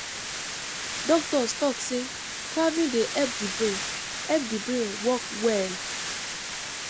Doctors talk sey traveling dey help the brain help the brain work well